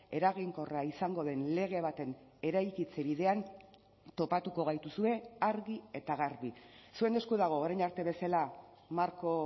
eraginkorra izango den lege baten eraikitze bidean topatuko gaituzue argi eta garbi zuen esku dago orain arte bezala marko